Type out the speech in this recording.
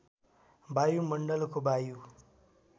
वायुमण्डलको वायु